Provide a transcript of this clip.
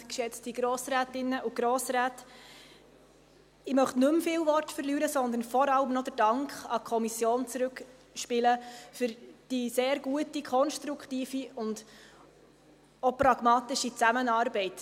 Ich möchte nicht mehr viele Worte verlieren, sondern vor allem auch den Dank an die Kommission zurückspielen für die sehr gute, konstruktive und auch pragmatische Zusammenarbeit.